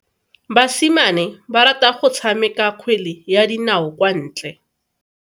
Basimane ba rata go tshameka kgwele ya dinao kwa ntle.